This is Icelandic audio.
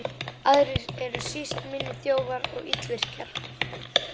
Aðrir eru síst minni þjófar og illvirkjar.